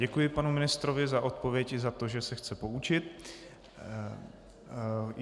Děkuji panu ministrovi za odpověď i za to, že se chce poučit.